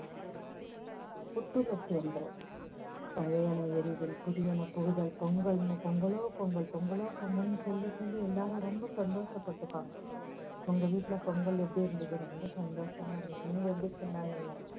புத்துணர்ச்சி வந்துரும், பழையன எரிதல், புதியன புகுதல், பொங்கல், பொங்கலோ பொங்கல், பொங்கலோ பொங்கல்னு சொல்லி சொல்லி எல்லாரும் ரொம்ப சந்தோஷப்பட்டுப்பாங்க. உங்க வீட்டுல பொங்கல் எப்படி இருந்துது ரொம்ப சந்தோஷமா இருந்துது நீங்க எப்படி கொண்டாடுணீங்க.